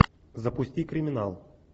запусти криминал